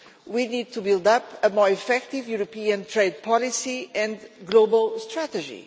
We need to build up a more effective European trade policy and global strategy